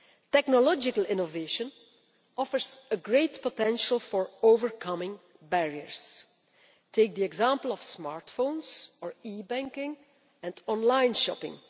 Technological innovation offers great potential for overcoming barriers. Take the example of smartphones or e banking and online shopping.